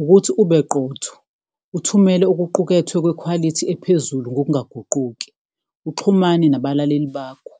Ukuthi ube qotho uthumele okuqukethwe kwekhwalithi ephezulu ngokungaguquki, uxhumane nabalaleli bakho,